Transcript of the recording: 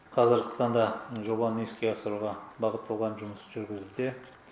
қазіргі таңда жобаны іске асыруға бағытталған жұмыс жүргізілуде